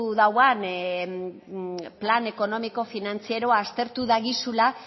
dauan plan ekonomiko finantzieroa aztertu dagizula